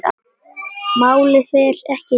Málið fer ekki lengra.